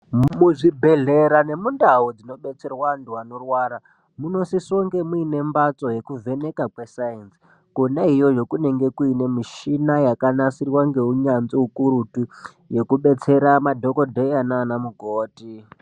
Mu zvibhehlera ne mundau dzino betserwa antu anorwara muno sise kunge muine mbatso yeku vheneka kwe sainzi kona iyoyo kunenge kuine mishina yaka nasirwa nge unyanzvi ukurutu yeku detsera madhokodheya nana mukoti.